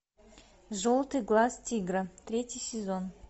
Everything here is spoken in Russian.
желтый глаз тигра третий сезон